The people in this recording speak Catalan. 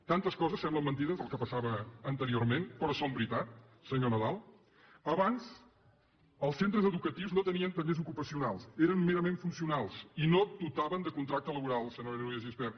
tantes coses semblen mentida del que passava anteriorment però són veritat senyor nadal abans els centres educatius no tenien tallers ocupacionals eren merament funcionals i no dotaven de contracte laboral senyora núria de gispert